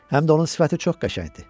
Həm də onun sifəti çox qəşəngdir.